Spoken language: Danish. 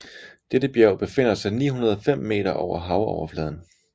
Dette bjerg befinder sig 905 meter over havoverfladen